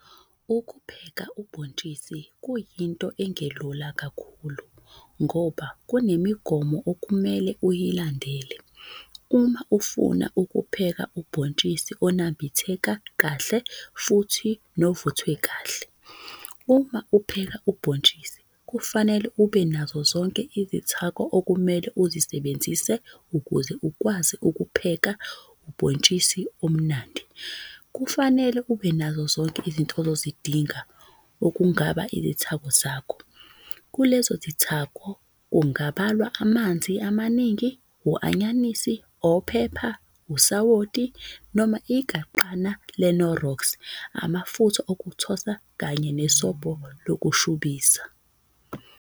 ukupheka ubhotshisi kuyinto engelula kakhulu ngoba kunemigomo okumele uyilandele Uma ufuna ukupheka ubhotshisi onambitheka Kahle futhi novuthwe Kahle. Uma upheka ubhotshisi kufanele ube nazo zonke izithako okumele uzisebenzise ukuze ukwazi ukupheka ubhotshisi omnandi, kufanele ube nazo zonke izinto ozozidinga okungaba izithako zakho, kulezo zithako kungabalwa amanzi amaningi,u- anyanisi, ophepha, usawoti noma igaqana le knorox amafutha okuthosa Kanye ne sobho lokushubisa